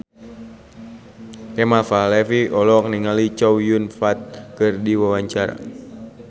Kemal Palevi olohok ningali Chow Yun Fat keur diwawancara